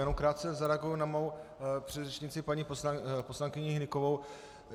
Jenom krátce zareaguji na svou předřečnici paní poslankyni Hnykovou.